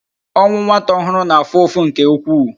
Ọnwụ nwata ọhụrụ na-afụ ụfụ nke ukwuu